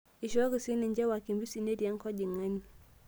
Eishooki sii ninche wakimbisi neeti enkojing'ani